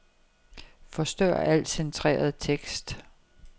Forstør al centreret tekst.